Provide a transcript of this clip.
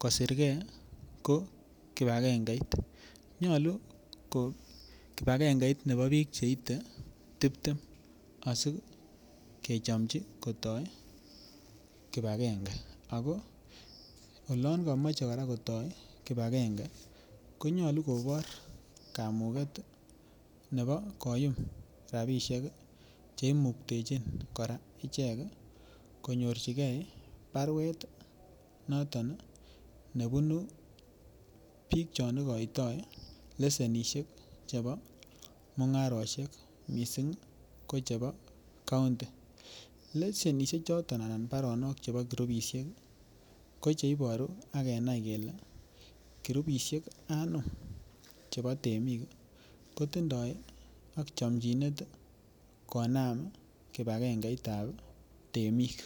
kosirge ko kipagengeit. Nyolu ko kipagengeit nebo biik cheite tibtem asikechomji kotoi kipagenge ago olon komoche kora kotoi kipagenge konyolu kobor kamuget nebo koyum rabishek che imuktechin kora ichek konyor barwet noton nebunu biik chon igoitoi lesenishek chebo mung'arosiek mising kochebo county lesenishek choton anan barono chebo kurupishek ko che iboru ak kenia kele kurupishek anum chebo temik kotindoi chomchinet konam kipagengeit ab temik.